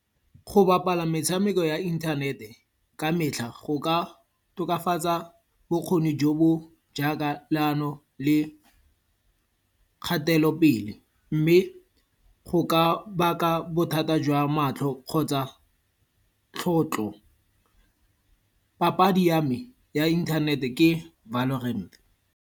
Go bapala metshameko ya inthanete ka metlha, go ka tokafatsa bokgoni jo bo jaaka leano le kgatelopele. Mme go ka baka bothata jwa matlho kgotsa tlhotlo. Papadi ya me ya inthanete ke Valorant.